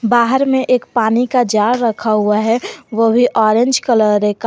बाहर में एक पानी का जार रखा हुआ है वो भी ऑरेंज कलर का।